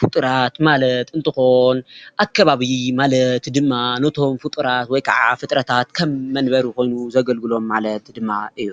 ፍጡራት ማለት እንትኾን ኣከባቢ ማለት ድማ ነቶም ፍጡራት ወይ ከዓ ፍጥረታት ከም መንበሪ ኾይኑ ዘገልግሎም ማለት ድማ እዩ፡፡